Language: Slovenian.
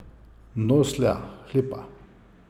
Noslja, hlipa.